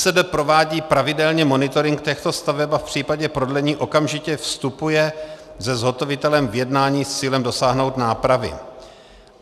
ŘSD provádí pravidelně monitoring těchto staveb a v případě prodlení okamžitě vstupuje se zhotovitelem v jednání s cílem dosáhnout nápravy.